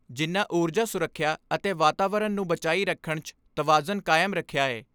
ਜਿਨ੍ਹਾਂ ਊਰਜਾ ਸੁਰੱਖਿਆ ਅਤੇ ਵਾਤਾਵਰਨ ਨੂੰ ਬਚਾਈ ਰੱਖਣ 'ਚ ਤਵਾਜ਼ਨ ਕਾਇਮ ਰੱਖਿਆ ਏ।